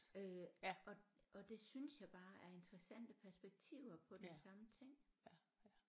Øh og og det synes jeg bare er interessante perspektiver på den samme ting